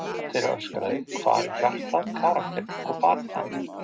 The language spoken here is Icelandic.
Einn þeirra öskraði: Hvar er hjartað, karakterinn og baráttuandinn?